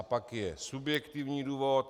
A pak je subjektivní důvod.